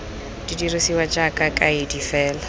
di dirisiwa jaaka kaedi fela